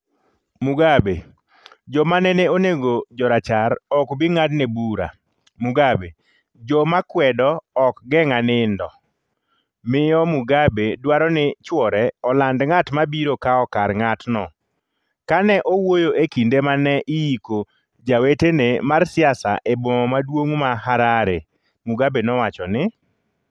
Mugabe: Joma nene onego jorachar ok bi ng’adne bura Mugabe: Joma kwedo ok geng’a nindo Miyo Mugabe dwaro ni chwore oland “ng’at ma biro kawo kar ng’atno” Ka ne owuoyo e kinde ma ne iiko jawetene mar siasa e boma maduong’ ma Harare, Mugabe nowacho ni;